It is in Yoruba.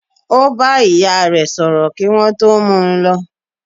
Ó bá ìyá re sọ̀rọ̀ kí wọ́n tó mú u lọ.